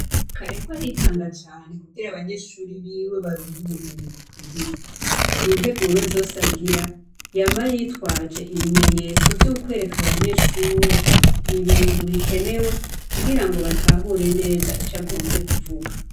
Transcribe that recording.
Karerwa aritanga cane kugira abanyeshuri biwe baronke ubumenyi bukwiriye. Mu nteguro zose agira, yama yitwaje ibimenyetso vy'ukwereka abanyeshure, ibintu bikenewe kugira ngo batahure neza ico agomvye kuvuga.